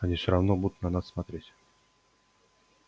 они всё равно будут на нас смотреть